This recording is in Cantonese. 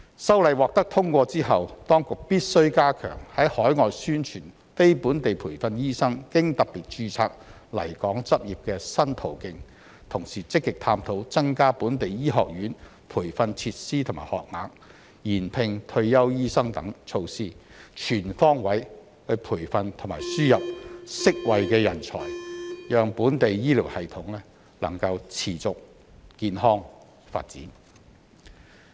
修例獲得通過後，當局必須加強在海外宣傳非本地培訓醫生經"特別註冊"來港執業的新途徑，同時積極探討增加本地醫學院培訓設施和學額、延聘退休醫生等措施，全方位培訓和輸入適位的人才，讓本地醫療系統能持續健康發展。